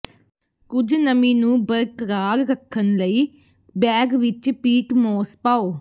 ਕੁਝ ਨਮੀ ਨੂੰ ਬਰਕਰਾਰ ਰੱਖਣ ਲਈ ਬੈਗ ਵਿਚ ਪੀਟ ਮੋਸ ਪਾਓ